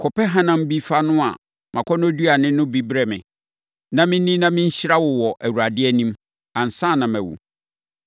‘Kɔpɛ hanam bi fa noa mʼakɔnnɔduane no bi brɛ me, na menni, na menhyira wo wɔ Awurade anim, ansa na mawu.’